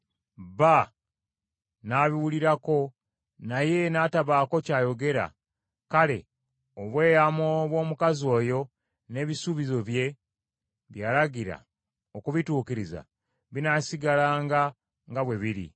bba n’abiwulirako, naye n’atabaako ky’ayogera; kale, obweyamo bw’omukazi oyo n’ebisuubizo bye, bye yalagira okubituukiriza, binaasigalanga nga bwe biri.